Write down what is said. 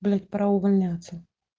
блять пора увольняться